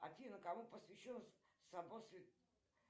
афина кому посвящен собор святого